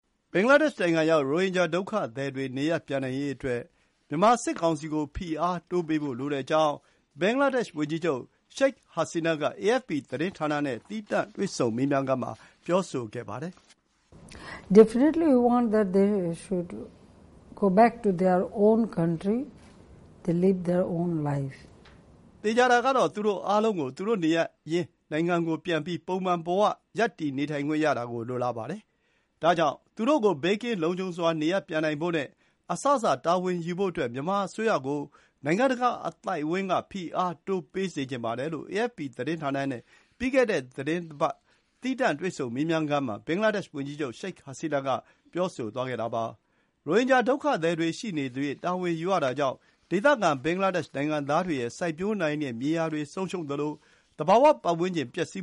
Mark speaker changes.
Speaker 1: ဘင်္ဂလားဒေ့ရှ်နိုင်ငံရောက် ရိုဟင်ဂျာဒုက္ခသည်တွေ နေရပ်ပြန်နိုင်ရေးအတွက် မြန်မာစစ်ကောင်စီကို ဖိအားတိုးပေးဖို့လိုကြောင်း ဘင်္ဂလားဒေ့ရှ်ဝန်ကြီးချုပ် Sheikh Hasina က AFP သတင်းဌာနနဲ့ သီးသန့်တွေ့ဆုံမေးမြန်းခန်းမှာ ပြောဆိုသွားပါတယ်။ “သေချာတာကတော့ သူတို့အားလုံးကို သူတို့နေရပ်ရင်းနိုင်ငံပြန်ပြီး ပုံမှန်ဘဝမှာရပ်တည်နေထိုင်ခွင့် ရတာကို လိုလားပါတယ်။ ဒါကြောင့် သူတို့ကို ဘေးကင်းလုံခြုံစွာ နေရပ်ပြန်နိုင်ဖို့နဲ့ အစစ တာဝန်ယူဖို့အတွက် မြန်မာအစိုးရကို နိုင်ငံတကာအသိုင်းအဝိုင်းက ဖိအားတိုးပေးစေချင်ပါတယ်။” လို့ AFP သတင်းဌာနနဲ့ ပြီးခဲ့တဲ့သီတင်းပတ်က သီးသန့်တွေ့ဆုံမေးမြန်းခန်းမှာ ဘင်္ဂလားဒေ့ရှ်ဝန်ကြီးချုပ် Sheikh Hasina က ပြောသွားပါတယ်။ ရိုဟင်ဂျာဒုက္ခသည်တွေရှိနေသရွေ့ တာဝန်ယူရတာကြောင့် ဒေသခံဘင်္ဂလားဒေ့ရှ်နိုင်ငံသားတွေရဲ့ စိုက်ပျိုးနိုင်တဲ့မြေယာတွေဆုံးရှုံးသလို သဘာဝပတ်ဝန်းကျင်လည်းပျက်စီး